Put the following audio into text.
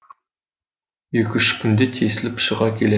екі үш күнде тесіліп шыға келе